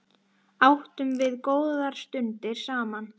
Áttum við góðar stundir saman.